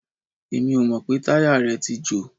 Èmi ò mọ̀ pé táyà rẹ̀ tí jò.